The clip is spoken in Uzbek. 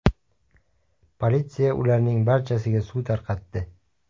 Politsiya ularning barchasiga suv tarqatdi.